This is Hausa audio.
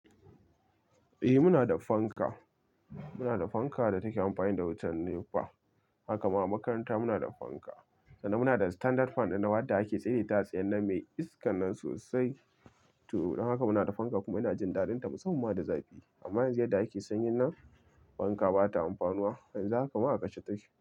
Eh muna da fanka, muna da fanka da take amfani da wutan NEPA. Haka ma a makaranta muna da fanka, sannan muna da standard fan dinnan wadda ake tsai da ita a tsayen nan mai iskan nan sosai. To don haka muna da fanka kuma ina jin dadinta musamman ma da zafi. Amma yanzu yadda ake sanyin nan fanka bata amfanuwa. Yanzu haka ma a kashe take.